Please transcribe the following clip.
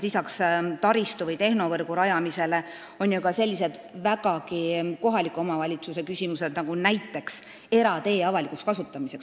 Lisaks taristu või tehnovõrgu rajamisele on siin ju ka selliseid vägagi kohaliku omavalitsuse küsimusi, näiteks eratee avalik kasutamine.